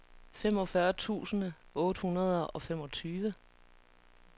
femogfyrre tusind otte hundrede og femogtyve